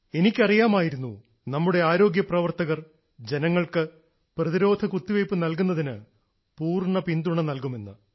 എനിക്കറിയാമായിരുന്നു നമ്മുടെ ആരോഗ്യപ്രവർത്തകർ ജനങ്ങൾക്ക് പ്രതിരോധകുത്തിവയ്പ്പ് നൽകുന്നതിന് പൂർണ്ണ പിന്തുണ നൽകുമെന്ന്